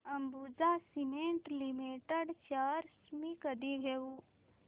Ambuja cement limited shares मी कधी घेऊ